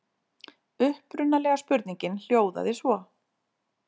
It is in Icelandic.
Upprunalega spurningin hljóðaði svo: